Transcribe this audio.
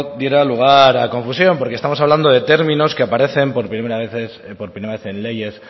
diera lugar a confusión porque estamos hablando de términos que aparecen por primera vez en leyes